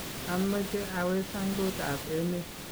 ameche awe sangutab emet